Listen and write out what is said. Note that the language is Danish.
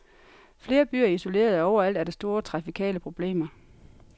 Flere byer er isolerede, og overalt er der store trafikale problemer.